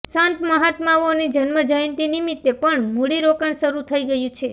સંત મહાત્માઓની જન્મજયંતિ નિમિત્તે પણ મૂડી રોકાણ શરૂ થઈ ગયું છે